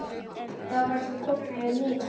Þá varstu komin yfir nírætt.